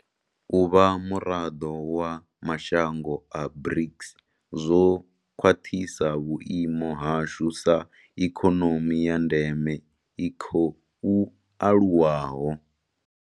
U vha muraḓo wa mashango a BRICS zwo khwaṱhisa vhuimo hashu sa ha ikonomi ya ndeme i khou aluwaho.